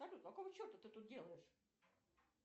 салют какого черта ты тут делаешь